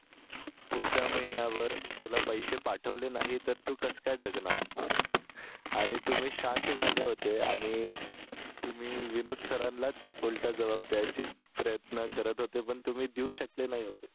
पुढचा महिनाभर तुला पैसे पाठवले नाही तर तू कस काय जगणार आणि तुम्ही शांत झाले होते आणि आणि तुम्ही विनोद सरांनाच उलटा जबाब द्यायचे प्रयत्न करत होते पण तुम्ही देऊ शकले नाही होते